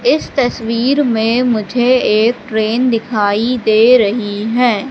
इस तस्वीर में मुझे एक ट्रेन दिखाई दे रही है।